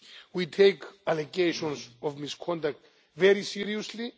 We take allegations of misconduct very seriously.